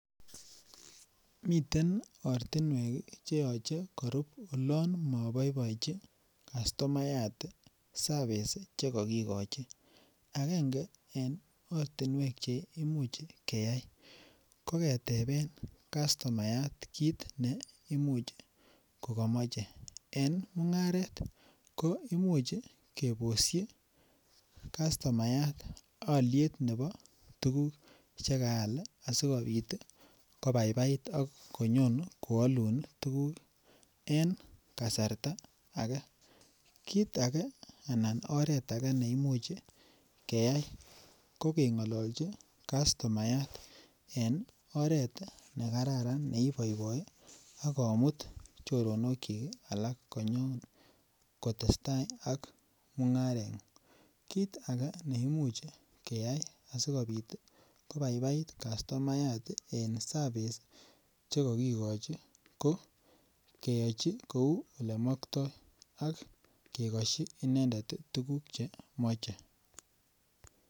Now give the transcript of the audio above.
Miten ortinwek cheyoche korub olon moboiboechin kastomayat service chekokikochi keyai ko ketepen kastomayat kit neimuche ko komoche en mungaret ko imuch keboshi kastomayat oliet nebo tukuk chekaal sikopit tii kobaibait akonyon ko olun tukuk en kasarta age. Kit age anan oret age neimuch keyai ko kengololchi kastomayat en oret nekararan neiboiboi akomut choronok chik alak konyone kotestai al mungarengung kit age neimuch keyai asokobaibait kastomayat en service sii chekokikochi ko keyochi kou olemokto ak kekoshi inendet tii tukuk chemoche.